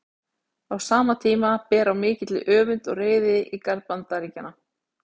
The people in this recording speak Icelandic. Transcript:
Á sama tíma ber á mikilli öfund og reiði í garð Bandaríkjanna.